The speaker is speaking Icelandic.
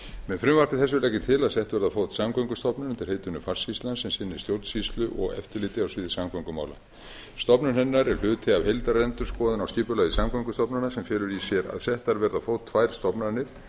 með frumvarpi þessu legg ég til að settur verði á fót samgöngustofnun undir heitinu farsýslan sem sinni stjórnsýslu og eftirliti á sviði samgöngumála stofnun hennar er hluti af heildarendurskoðun á skipulagi samgöngustofnunar sem felur í sér að settar verða á fót tvær stofnanir